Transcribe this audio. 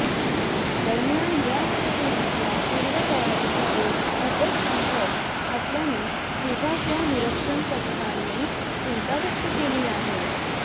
दरम्यान या स्टेडियमच्या पूर्वतयारीचा वेग खूपच संथ असल्याने फिफाच्या निरीक्षण पथकाने चिंता व्यक्त केली आहे